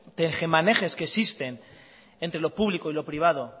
tejemanejes que existen entre lo público y lo privado